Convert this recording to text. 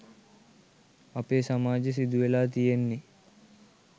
අපේ සමාජේ සිදුවෙලා තියෙන්නේ.